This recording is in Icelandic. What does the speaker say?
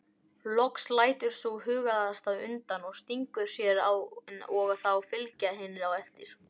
Loks lætur sú hugaðasta undan og stingur sér og þá fylgja hinar á eftir.